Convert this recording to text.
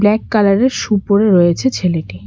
Black colour -এর shoe পরে রয়েছে ছেলেটি।